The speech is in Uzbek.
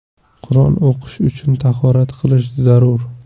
Qur’on o‘qish uchun tahorat qilish zarur.